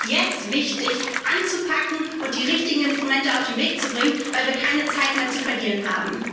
Also ist es jetzt wichtig, anzupacken und die richtigen Instrumente auf den Weg zu bringen, weil wir keine Zeit mehr zu verlieren haben.